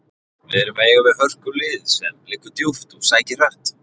Við erum að eiga við hörkulið sem liggur djúpt og sækir hratt.